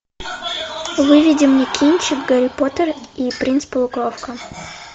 выведи мне кинчик гарри поттер и принц полукровка